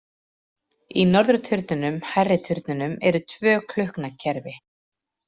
Í norðurturninum, hærri turninum, eru tvö klukknakerfi.